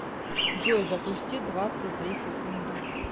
джой запусти двадцать две секунды